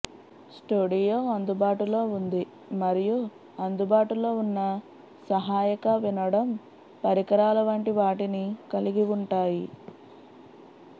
studio అందుబాటులో ఉంది మరియు అందుబాటులో ఉన్న సహాయక వినడం పరికరాల వంటి వాటిని కలిగి ఉంటాయి